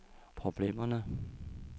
problemerne